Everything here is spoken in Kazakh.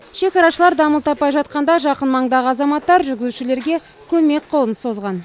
шекарашылар дамыл таппай жатқанда жақын маңдағы азаматтар жүргізушілерге көмек қолын созған